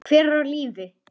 Hver er á lífi?